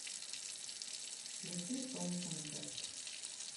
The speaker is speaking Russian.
включи шоу концерт